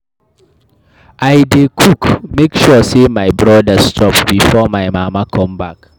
I dey cook, make sure sey my brodas chop befor my mama come back.